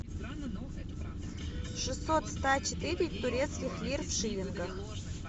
шестьсот ста четыре турецких лир в шиллингах